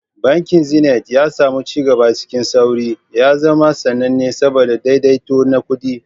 Bankin Zenith, ya sami ci gaba cikin sauri, ya zama sananne saboda daidaito na kuɗi.